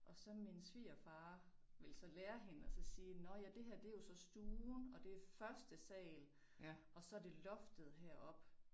Og så min svigerfar ville så lære hende at så sige nåh ja det her det jo så stuen og det første sal og så det loftet heroppe